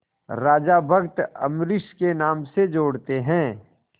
राजा भक्त अम्बरीश के नाम से जोड़ते हैं